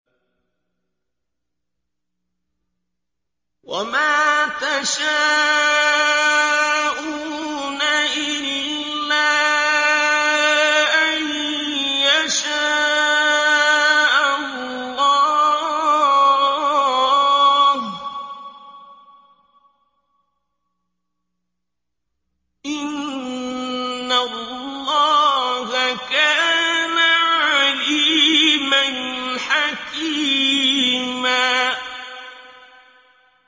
وَمَا تَشَاءُونَ إِلَّا أَن يَشَاءَ اللَّهُ ۚ إِنَّ اللَّهَ كَانَ عَلِيمًا حَكِيمًا